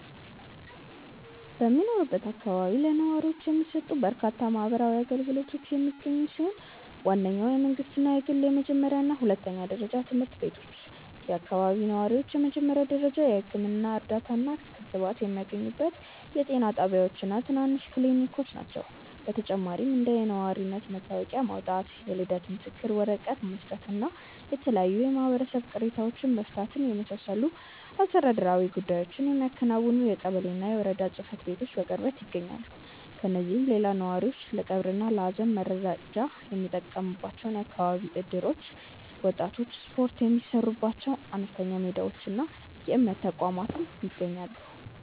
በሚኖርበት አካባቢ ለነዋሪዎች የሚሰጡ በርካታ ማህበራዊ አገልግሎቶች የሚገኙ ሲሆን፣ ዋነኞቹ የመንግሥትና የግል የመጀመሪያና ሁለተኛ ደረጃ ትምህርት ቤቶች፣ የአካባቢው ነዋሪዎች የመጀመሪያ ደረጃ የሕክምና እርዳታና ክትባት የሚያገኙባቸው የጤና ጣቢያዎችና ትናንሽ ክሊኒኮች ናቸው። በተጨማሪም እንደ የነዋሪነት መታወቂያ ማውጣት፣ የልደት ምስክር ወረቀት መስጠትና የተለያዩ የማህበረሰብ ቅሬታዎችን መፍታትን የመሳሰሉ አስተዳደራዊ ጉዳዮችን የሚያከናውኑ የቀበሌና የወረዳ ጽሕፈት ቤቶች በቅርበት ይገኛሉ። ከእነዚህም ሌላ ነዋሪዎች ለቀብርና ለሐዘን መረዳጃ የሚጠቀሙባቸው የአካባቢ እደሮች፣ ወጣቶች ስፖርት የሚሠሩባቸው አነስተኛ ሜዳዎችና የእምነት ተቋማት ይገኛሉ።